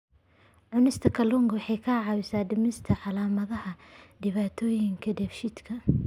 Cunista kalluunka waxa ay caawisaa dhimista calaamadaha dhibaatooyinka dheefshiidka.